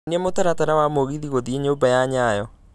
nyonia mũtaratara wa mũgithi gũthiĩ nyumba ya nyayo